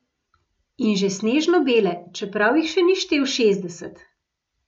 In že snežno bele, čeprav jih še ni štel šestdeset.